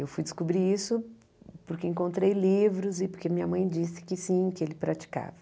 Eu fui descobrir isso porque encontrei livros e porque minha mãe disse que sim, que ele praticava.